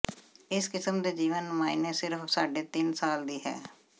ਇਸ ਕਿਸਮ ਦੇ ਜੀਵਨ ਨੁਮਾਇੰਦੇ ਸਿਰਫ ਸਾਢੇ ਤਿੰਨ ਸਾਲ ਦੀ ਹੈ